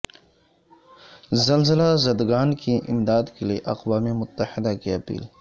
زلزلہ زدگان کی امداد کےلیے اقوام متحدہ کی اپیل